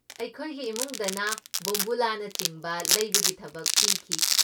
ꯑꯩꯈꯣꯏꯒꯤ ꯏꯃꯨꯡꯗꯅ ꯕꯣꯝꯕꯨꯂꯥꯅꯆꯤꯡꯕ ꯂꯩꯕꯒꯤ ꯊꯕꯛ ꯄꯤꯈꯤ꯫